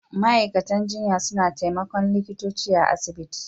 Ma'aikatan jinya suna taimakon likitoci a'asibiti.